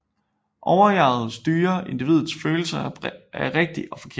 Overjeget styrer individets følelse af rigtigt og forkert